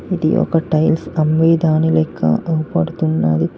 ఇది ఒక టైల్స్ అమ్మే దాని లెక్క కనపడుతున్నది.